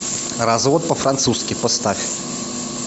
развод по французски поставь